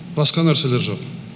басқа нәрселер жоқ